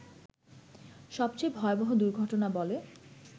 সবচেয়ে ভয়াবহ দুর্ঘটনা বলে